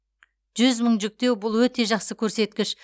жүз мың жүктеу бұл өте жақсы көрсеткіш